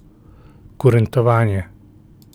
Kurentovanje.